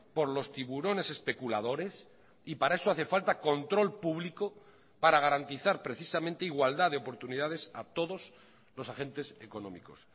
por los tiburones especuladores y para eso hace falta control público para garantizar precisamente igualdad de oportunidades a todos los agentes económicos